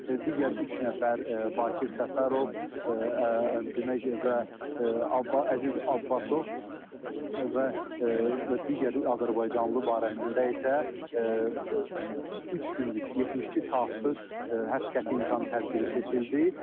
Digər üç nəfər, Bakir Səfərov, demək, və Əziz Abbasov və digər azərbaycanlı barəsində isə üç günlük, 72 saatlıq həbs qəti imkan tədbiri seçildi.